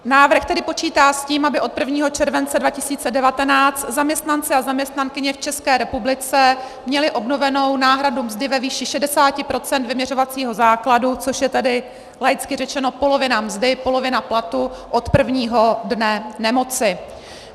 Návrh tedy počítá s tím, aby od 1. července 2019 zaměstnanci a zaměstnankyně v České republice měli obnovenou náhradu mzdy ve výši 60 % vyměřovacího základu, což je tedy laicky řečeno polovina mzdy, polovina platu, od prvního dne nemoci.